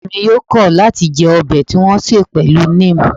Kosin mi yoo kọ̀ láti jẹ ọbẹ̀ tí wọn ṣe pẹ̀lú neem